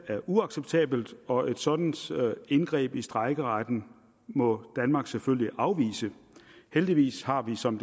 er uacceptabelt og et sådant indgreb i strejkeretten må danmark selvfølgelig afvise heldigvis har vi som